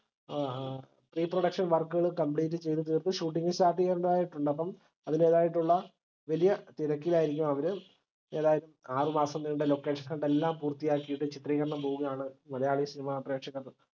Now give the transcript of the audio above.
ഏർ reproduction work കൾ complete ചെയ്തുതീർത്ത് shooting start ചെയ്യേണ്ടതായിട്ടുണ്ട് അപ്പം അതിന്റേതായിട്ടുള്ള വലിയ തെരക്കിലായിരിക്കും അവർ. ഏതായാലും ആറുമാസം നീണ്ട location hunt ല്ലാം പൂർത്തിയാക്കിയിട്ട് ചിത്രീകരണം പോവുകയാണ് മലയാളി cinema പ്രേക്ഷകർ